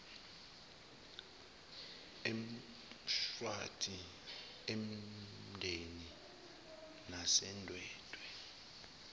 emshwathi emandeni nasendwedwe